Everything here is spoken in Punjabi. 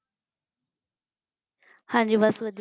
ਹਾਂਜੀ ਬਸ ਵਧੀਆ